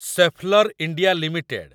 Schaeffler India limited